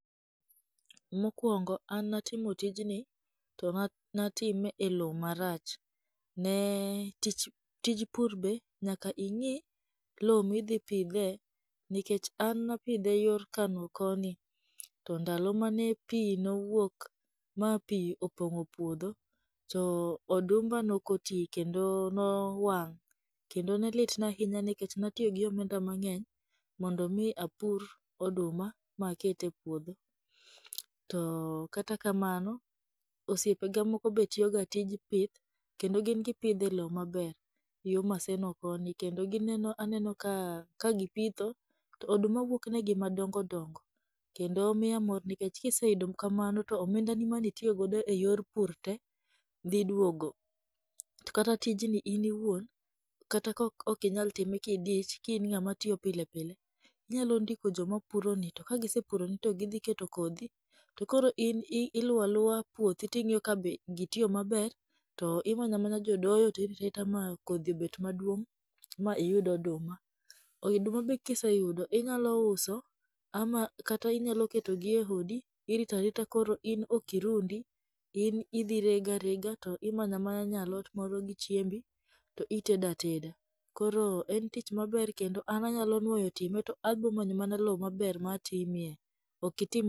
Mokuongo an natimo tijni to ne atime e lo marach. Ne tich tij pur be nyaka ing'i lo midhi pidhe, nikech an napidhe yor kano koni to ndalo mane pi nowuok ma pi opong'o puodho, to odumba nokoti kendo nowang'. Kendo nelitna ahinya nikech natiyo gi omenda mang'eny mondo mi apur oduma ma aket e puodho. To kata kamano, osiepe ga moko be tiyoga tij pith, kendo gin gipighe e lo maber, yo maseno koni, kendo gineno aneno kagipitho to oduma wuokne gi madongo dongo, kendo miya mor nikech kiseyudo kamano to omendani mane itiyogodo e yor pur te dhi duogo. Kata tijni in iwuon, kata ka okinyal time ka idich ki in ng'ama tiyo pile pile, inyalo ndiko joma puroni, to kasige puroni to gidi keto kodhi, to koro in iluwa luwa puothi to ing'iyo ka be gitiyo maber, to imanya manya jo doyo to irita rita ma kodhi obet maduong' ma iyud oduma. Oiduma be kiseyudo inyalo uso ama kata inyalo ketogi e hodi, irita rita in koro ok irundi in idhi rega rega to imanya manya nyalot moro gi chiembi, to itedo ateda. Koro en tich maber kendo an anyalo nuoyo time to abomanyo mana lo maber ma atimie. Okitim.